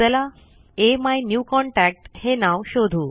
चला अमिन्यूकॉन्टॅक्ट हे नाव शोधू